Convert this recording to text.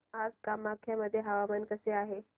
आज कामाख्या मध्ये हवामान कसे आहे